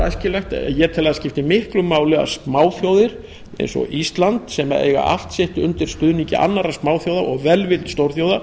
æskilegt ég tel að það skipti miklu máli að smáþjóðir eins og ísland sem eiga allt sitt undir stuðningi annarra smáþjóða og velvild stórþjóða